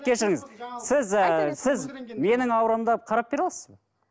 кешіріңіз сіз ііі сіз менің аурамды алып қарап бере аласыз ба